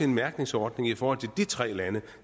mærkningsordning i forhold til de tre lande